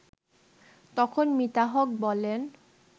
তখন মিতা হক বলেন